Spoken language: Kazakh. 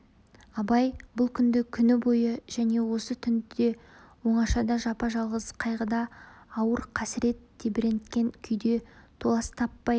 абай бұл күнді күні бойы және осы түнді де оңашада жапа-жалғыз қайғыда ауыр қасірет тебіренткен күйде толас таппай